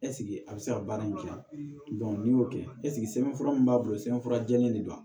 a bɛ se ka baara in kɛ n'i y'o kɛ sɛbɛnfura min b'a bolo sɛbɛnfura jɛlen de don